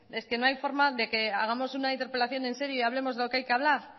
es que no hay forma de que hagamos una interpelación en serio y hablemos de lo que hay que hablar